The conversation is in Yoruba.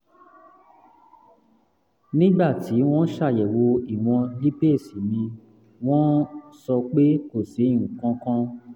nígbà tí wọ́n ṣàyẹ̀wò ìwọ̀n lípase mi wọ́n um sọ pé kò sí nǹkan kan